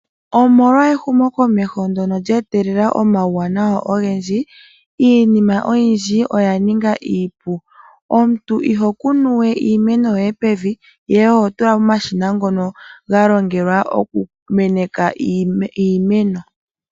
Omolwa ehumokomeho ndyono lye etelela omauwanawa ogendji, iinima oyindji oya ninga iipu. Omuntu iho kunu we iimeno yoye pevi, ihe oho tula momashina ngono ga longelwa okumeneka iimeno.